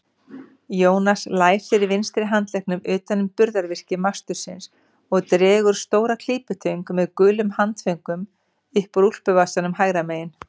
Jónas læsir vinstri handleggnum utan um burðarvirki mastursins og dregur stóra klípitöng með gulum handföngum upp úr úlpuvasanum hægra megin.